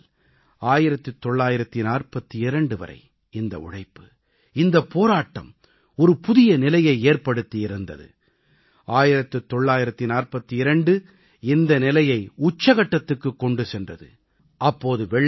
1857 முதல் 1942 வரை இந்த உழைப்பு இந்தப் போராட்டம் ஒரு புதிய நிலையை ஏற்படுத்தி இருந்தது 1942 இந்த நிலையை உச்சகட்டத்துக்குக் கொண்டு சென்றது